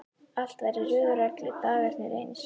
Allt var í röð og reglu, dagarnir eins.